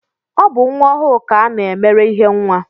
Ọ bụ nwa ọhụụ ka a na-emere ihe nwa